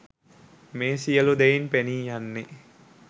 මේ සියලු දෙයින් පෙනී යන්නේ